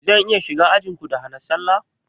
Zan iya shiga ajinku da hana sallah?